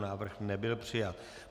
Návrh nebyl přijat.